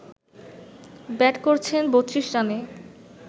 bat করছেন ৩২ রানে